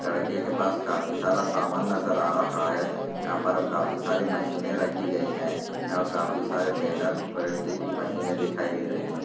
लड़के के पास काफी सारा सामान नजर आ रहा है। यहाँ पर काफी सारी मशीनें रखी गई हैं। यहाँ काफी सारी बैनर प्रिंटिंग की मशीनें दिखाई दे रही हैं।